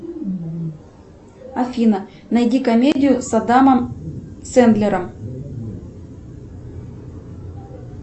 афина найди комедию с адамом сендлером